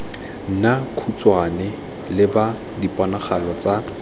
nna khutshwane leba diponagalo tse